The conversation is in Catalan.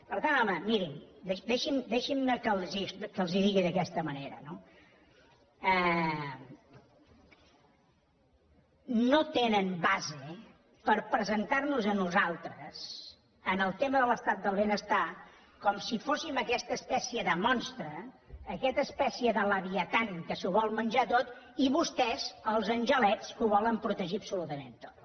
per tant home mirin deixin me que els ho digui d’aquesta manera no no tenen base per presentar nos a nosaltres en el tema de l’estat del benestar com si fóssim aquesta espècie de monstre aquesta espècie de leviatan que s’ho vol menjar tot i vostès els angelets que ho volen protegir absolutament tot